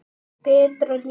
Betra líf.